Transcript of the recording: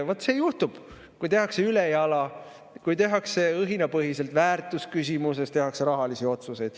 Vaat see juhtub, kui tehakse ülejala, kui tehakse õhinapõhiselt, väärtusküsimuses tehakse rahalisi otsuseid.